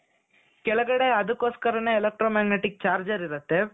ಕೆಳಗಡೆ ಅದಕ್ಕೋಸ್ಕರನೆ electro magnetic charger ಇರುತ್ತೆ .